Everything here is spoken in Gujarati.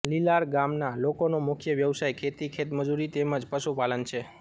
લીલાર ગામના લોકોનો મુખ્ય વ્યવસાય ખેતી ખેતમજૂરી તેમ જ પશુપાલન છે